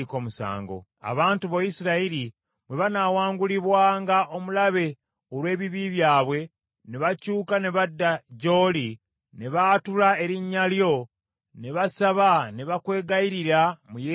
“Abantu bo Isirayiri bwe banaawaangulibwanga omulabe olw’ebibi byabwe, ne bakyuka ne badda gy’oli, ne baatula erinnya lyo, ne basaba ne bakwegayirira mu yeekaalu muno,